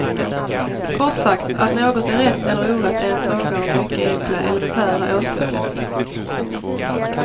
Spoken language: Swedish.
Kort sagt, att något är rätt eller orätt är en fråga om mycket enkla, elementära, åskådliga ting.